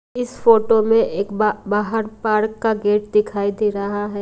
इस फोटो में एक बा--बाहर पार्क का गेट दिखाई दे रहा --